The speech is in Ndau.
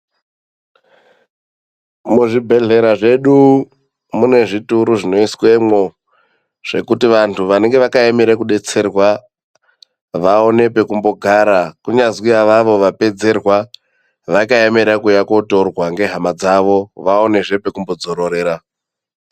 Muzvibhedhlera zvedu munezvituru zvinoiswemwo zvekuti vantu vanenge vakaemera kudetserwa vaone pekumbogara, kunyazwi avavo vapedzerwa vakaemera kuuya kutorwa ngehama dzavo vaonezve pekumbodzororera.